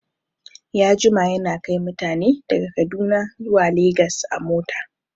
Ya jima yana kai mutane daga kaduna zuwa legas a mota